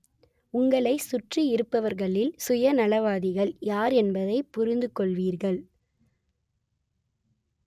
உங்களைச் சுற்றியிருப்பவர்களில் சுயநலவாதிகள் யார் என்பதைப் புரிந்துக் கொள்வீர்கள்